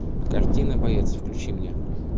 картина боец включи мне